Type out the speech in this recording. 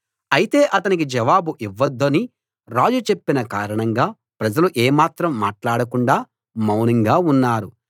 అయితే అతనికి జవాబు ఇవ్వొద్దని రాజు చెప్పిన కారణంగా ప్రజలు ఏమాత్రం మాట్లాడకుండా మౌనంగా ఉన్నారు